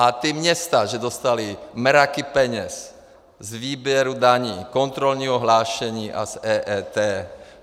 A ta města že dostala mraky peněz z výběru daní, kontrolního hlášení a z EET.